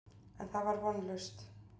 En það var vonlaust.